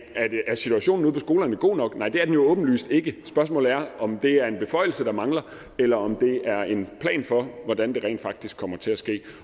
er situationen ude på skolerne god nok nej det er den jo åbenlyst ikke spørgsmålet er om det er en beføjelse der mangler eller om det er en plan for hvordan det rent faktisk kommer til at ske